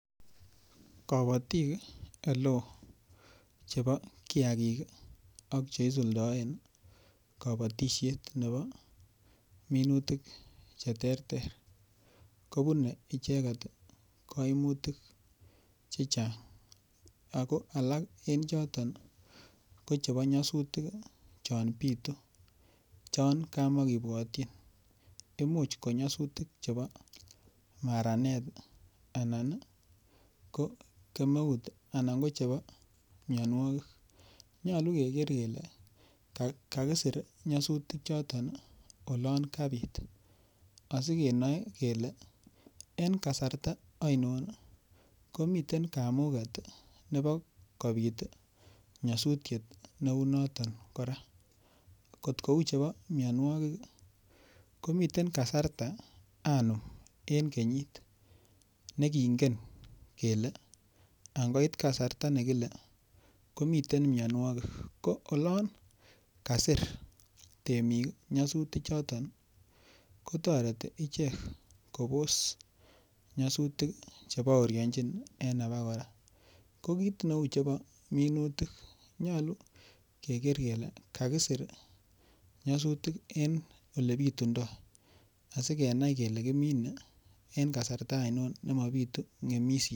Kabotik ole oo chebo kiyakik ak cheisuldoen kabatishet nebo minutik cheterter kobunei icheget kaimutik chechang' ako alak en chotok ko chebo nyosutik chon bitu chon kamakebwotchin imuuch ko nyasutik chebo maranet anan ko kemeut anan ko chebo miyonwokik nyolu keker kele kakisir nyasutik choton olon kabit asikenoe kele en kasarta oinon komiten kamuket nebo kobit nyosutyet neu noton kora kot kou chebo miyonwokik komiten kasarta anom en kenyit nekingen kele angoit kasarta nekile komiten miyonwokik ko olon kasir temik nyasutik choton kotoreti ichek kobos nyasutik chebourionjin en aba kora ko kiit neu chebo minutik nyolu keker kele kakisir anyasutik en ole bitundoi asikenai kele kiminei en kasarta ainon nemabitu ng'emishet